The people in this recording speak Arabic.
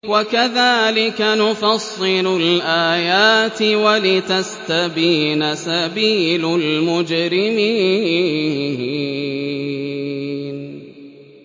وَكَذَٰلِكَ نُفَصِّلُ الْآيَاتِ وَلِتَسْتَبِينَ سَبِيلُ الْمُجْرِمِينَ